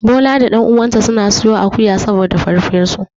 Bola da ɗan uwansa suna siyo akuwa saboda farfesu.